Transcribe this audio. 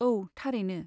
औ, थारैनो।